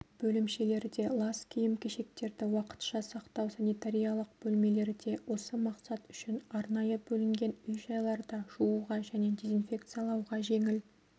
бөлімшелерде лас киім-кешектерді уақытша сақтау санитариялық бөлмелерде осы мақсат үшін арнайы бөлінген үй-жайларда жууға және дезинфекциялауға жеңіл